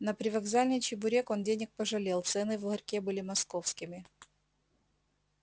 на привокзальный чебурек он денег пожалел цены в ларьке были московскими